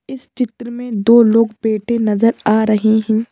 इस चित्र में दो लोग बैठे नजर आ रहे हैं।